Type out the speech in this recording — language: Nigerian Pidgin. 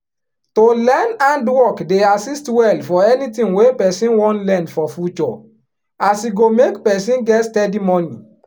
to learn handwork dey assist well for anything wey person wan learn for future as e go make person get steady money